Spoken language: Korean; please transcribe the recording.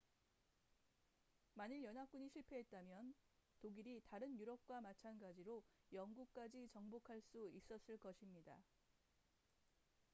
만일 연합군이 실패했다면 독일이 다른 유럽과 마찬가지로 영국까지 정복할 수 있었을 것입니다